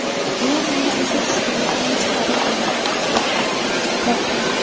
Ular meni o‘sha tushkunlikdan chiqarib oldi”, dedi prokuror.